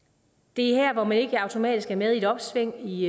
det er her hvor man ikke automatisk er med i et opsving i